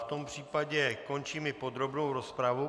V tom případě končím i podrobnou rozpravu.